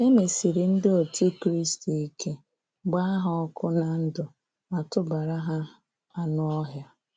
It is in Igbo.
E mesịrị ndị otú Kristi ike, gbaa ha ọkụ na ndụ, ma tụbara ha aṅụ ọhịa.